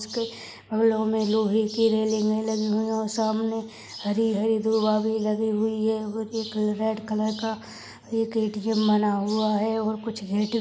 और इसमें लोहे की रेलिंग लगी हुई है और सामने हरी-हरी दुबा भी लगी है उसमें रेड कलर का एक ए_टी_एम बना हुआ है और कुछ--